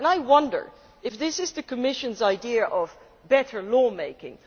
I wonder if this is the Commission's idea of better law making.